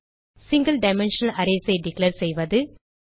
single dimensional arrays ஐ declare செய்வது